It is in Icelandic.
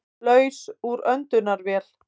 Laus úr öndunarvél